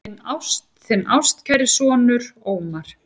Þinn ástkæri sonur, Ómar.